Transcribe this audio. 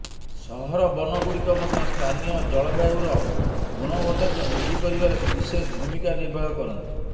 ସହରବନ ଗୁଡ଼ିକ ମଧ୍ୟ ସ୍ଥାନୀୟ ଜଳବାୟୁର ଗୁଣବତାକୁ ବୃଦ୍ଧି କରିବାରେ ବିଶେଷ ଭୂମିକା ନିର୍ବାହ କରନ୍ତି